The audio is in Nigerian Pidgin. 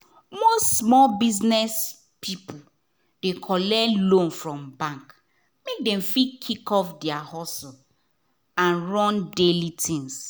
most small biz people dey collect loan from bank make dem fit kick off their hustle and run daily things.